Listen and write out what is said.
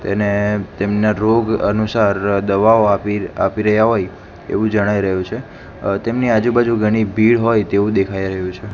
તેને તેમના રોગ અનુસાર દવાઓ આપી આપી રહ્યા હોઈ એવુ જણાઈ રહ્યુ છે અ તેમની આજુ બાજુ ઘણી ભીડ હોય તેવુ દેખાય રહ્યુ છે.